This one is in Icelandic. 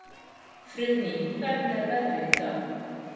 Friðný, hvernig er veðrið í dag?